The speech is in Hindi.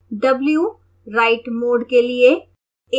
w write mode के लिए है